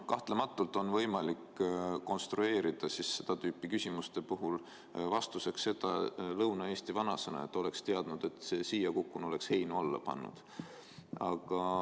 Kahtlematult on võimalik konstrueerida seda tüüpi küsimustele vastus, lähtudes Lõuna-Eesti vanasõnast, et oleks teadnud, et ma siia kukun, oleks heinu alla pannud.